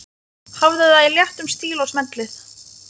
Hafðu það í léttum stíl og smellið